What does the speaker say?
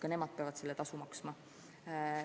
Ka nemad peavad selle tasu maksma.